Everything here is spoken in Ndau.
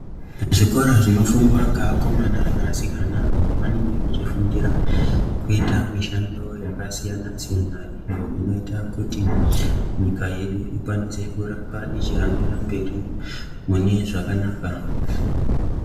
Zvikora zvinofundwa ngeakomana neasikana apo vanenge vechifundira kuita mishando yakasiyanasiyana iyo inoita kuti nyika yedu ikwanise kuhambira mberi mune zvakanaka.